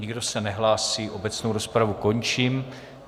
Nikdo se nehlásí, obecnou rozpravu končím.